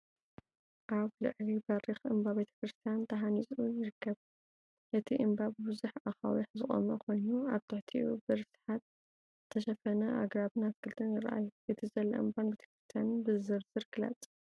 ኣብ ልዕሊ በሪኽ እምባ ቤተክርስትያን ተሃኒጹ ይርአ። እቲ እምባ ብብዙሕ ኣኻውሕ ዝቖመ ኮይኑ፡ ኣብ ትሕቲኡ ብርስሓት ዝተሸፈኑ ኣግራብን ኣትክልትን ይረኣዩ። እቲ ዘሎ እምባን ቤተክርስትያንን ብዝርዝር ግለጽ።